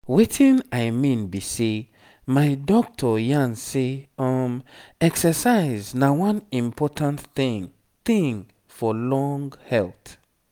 wetin i mean be sey my doctor yarn say exercise na one important thing thing for long health.